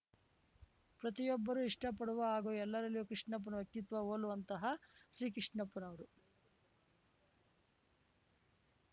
ಪ್ರತಿಯೊಬ್ಬರೂ ಇಷ್ಟಪಡುವ ಹಾಗೂ ಎಲ್ಲರಲ್ಲಿಯೂ ಕೃಷ್ಣಪ್ಪನ ವ್ಯಕ್ತಿತ್ವ ಹೋಲುವಂತಹ ಶ್ರೀಕೃಷ್ಣಪ್ಪನವರು